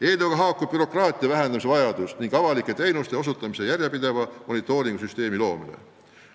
Eelnõuga haakub bürokraatia vähendamise vajadus ning avalike teenuste osutamise järjepideva monitooringu süsteemi loomine.